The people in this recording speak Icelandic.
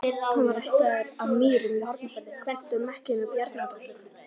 Hann var ættaður af Mýrum í Hornafirði, kvæntur Mekkínu Bjarnadóttur.